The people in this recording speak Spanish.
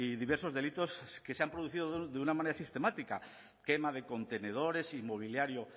diversos delitos que se han producido de una manera sistemática quema de contenedores y mobiliario